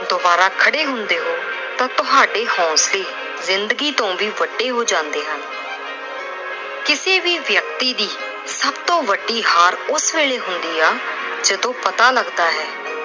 ਦੁਬਾਰਾ ਖੜ੍ਹੇ ਹੁੰਦੇ ਹੋ ਤਾਂ ਤੁਹਾਡੇ ਹੌਂਸਲੇ ਜ਼ਿੰਦਗੀ ਤੋਂ ਵੀ ਵੱਡੇ ਹੋ ਜਾਂਦੇ ਹਨ। ਕਿਸੇ ਵੀ ਵਿਅਕਤੀ ਦੀ ਸਭ ਤੋਂ ਵੱਡੀ ਹਾਰ ਉਸ ਵੇਲੇ ਹੁੰਦੀ ਆ ਜਦੋਂ ਪਤਾ ਲੱਗਦਾ ਏ